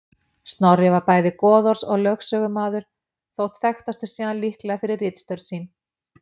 Snorri var bæði goðorðs- og lögsögumaður þótt þekktastur sé hann líklega fyrir ritstörf sín.